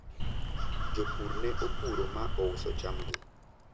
jopur ne opuro ma ouso chamgi